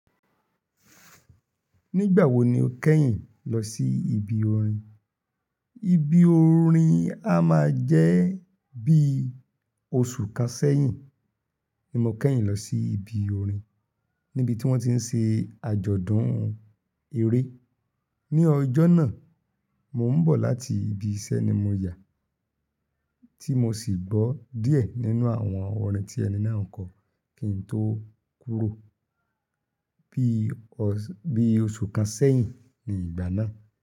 Nígbà wo ni o kẹ́yìn lọ sí ibi orin? Ibi orin a máa jẹ́ bí oṣù kan sẹ́yìn ni mo kẹ́yìn lọ sí ibi orin níbi tí wọ́n ti ń ṣe àjọ̀dún eré. Ni ọjọ́ náà, mo ń bọ̀ láti ibi iṣẹ́ ni mo yà, tí mo sì gbọ́ díẹ̀ nínú àwọn orin tí ẹni náà ń kọ kí n tó kúrò. Bí oṣù kan sẹ́yìn ni ìgbà náà.